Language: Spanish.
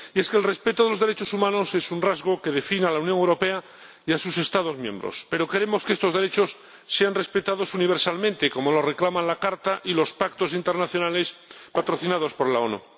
Y es que el respeto de los derechos humanos es un rasgo que define a la Unión Europea y a sus Estados miembros, pero queremos que estos derechos sean respetados universalmente como lo reclaman la Carta y los pactos internacionales patrocinados por la ONU.